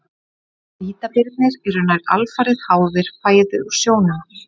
Hvítabirnir eru nær alfarið háðir fæðu úr sjónum.